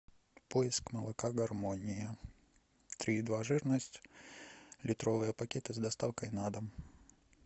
поиск молока гармония три и два жирность литровые пакеты с доставкой на дом